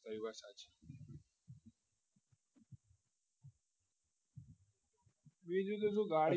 બીજું તો શું ગાડી